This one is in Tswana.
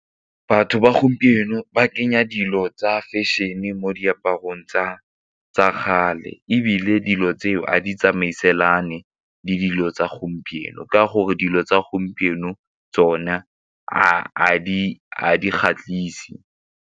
Batho ba gompieno ba kenya dilo tsa fashion e mo diaparong tsa kgale ebile dilo tseo a ditsamaiselane le dilo tsa gompieno ka gore dilo tsa gompieno tsone a di kgatlhise.